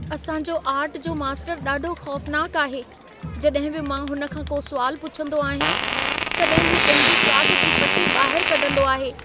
असां जो आर्ट जो मास्तर ॾाढो खौफनाक आहे। जॾहिं बि मां हुन खां को सुवाल पुछंदो आहियां, तॾहिं हू पंहिंजी काठ जी पटी ॿाहिर कढंदो आहे।